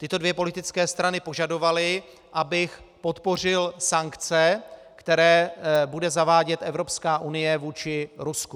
Tyto dvě politické strany požadovaly, abych podpořil sankce, které bude zavádět Evropská unie vůči Rusku.